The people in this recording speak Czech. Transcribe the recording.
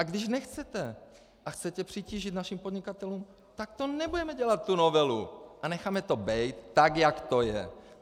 A když nechcete a chcete přitížit našim podnikatelům, tak to nebudeme dělat, tu novelu, a necháme to být, tak jak to je.